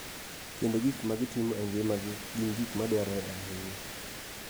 Kendo gik ma gitimo e ngimagi gin gik ma dwarore ahinya.